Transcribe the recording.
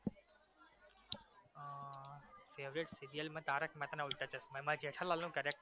favourite serial માં તારક મહેતા ના ઉલ્ટા ચશ્મા એમાં જેઠાલાલનું character